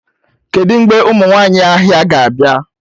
Kedu mgbe ụmụ nwanyị ahịa ga-abịa?